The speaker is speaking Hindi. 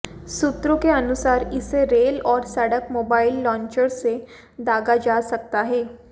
सूत्रों के अनुसार इसे रेल और सड़क मोबाइल लांचर्स से दागा जा सकता है